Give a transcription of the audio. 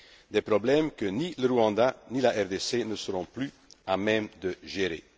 an des problèmes que ni le Rwanda ni la RDC ne seront plus à même de gérer.